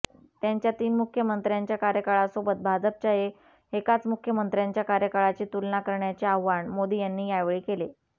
त्यांच्या तीन मुख्यमंत्र्यांच्या कार्यकाळासोबत भाजपच्या एकाच मुख्यमंत्र्यांच्या कार्यकाळाची तुलना करण्याचे आवाहन मोदी यांनी यावेळी केले